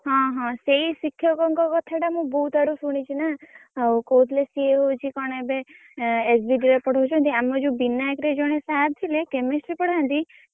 ହଁ ହଁ ସେଇ ଶିକ୍ଷକଙ୍କ କଥା ଟା ମୁଁ ବହୁତ୍ ଆଡୁ ଶୁଣିଛି ନା। ଆଉ କହୁଥିଲେ ସିଏ ହଉଛି କଣ ଏବେ ଏ SBD ରେ ପଢଉଛନ୍ତି। ଆମର ଯୋଉ ବିନାୟକ୍ ରେ ଜଣେ sir ଥିଲେ Chemistry ପଢାନ୍ତି